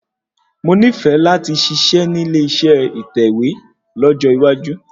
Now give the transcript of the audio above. Mo nífẹ̀ẹ́ láti ṣiṣẹ́ nílé ìṣe ìtẹ̀wẹ́ lọ́jọ́ iwájú